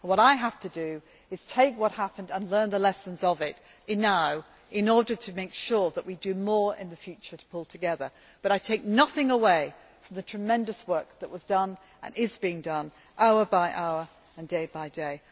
What I have to do is take what happened and learn the lessons of it now in order to make sure that we do more in the future to pull together, but I take nothing away from the tremendous work that was done and is being done hour by hour and day by day.